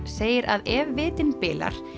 segir að ef vitinn bilar